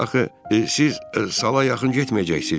siz sala yaxın getməyəcəksiz.